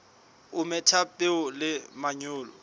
o metha peo le manyolo